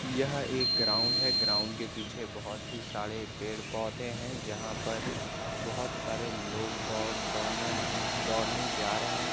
यह एक ग्राउंड है ग्राउड़ के पीछे बहुत सारे पेड़ पौधे है जहाँ पर बहुत सारे लोग दौड़ दौड़ना दौड़ने जा रहे है ।